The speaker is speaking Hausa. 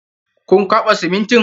Kun kwaɓa simintin?